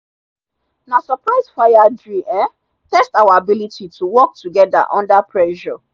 na surprise fire drill um test our ability to work together under pressure.